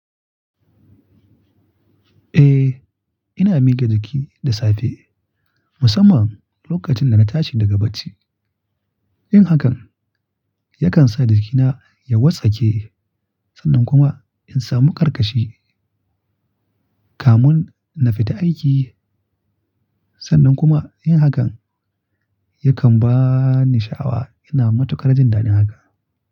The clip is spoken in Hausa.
Eh, ina miga jiki da safe musamman lokacin da na tashi daga bacci. Yin hakan yakan sa jikina ya wartsake sannan kuma in samu karkashi kamun na fita aiki. Sannan kuma yin hakan yakan ba ni sha'awa. Ina matukar jin daɗin haka.